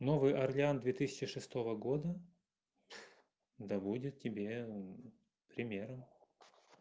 новый орлеан две тысячи шестого года доводят тебе примером